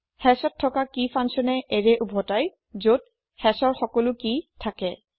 hashত থকা কি ফাঙ্কচ্যনে এৰে উভতাই যত hashৰ সকলো কি থাকে